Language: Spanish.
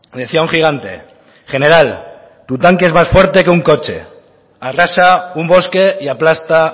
decía un gigante general tu tanque es más fuerte que un coche arrasa un bosque y aplasta